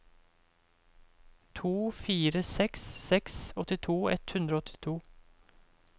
to fire seks seks åttito ett hundre og åttito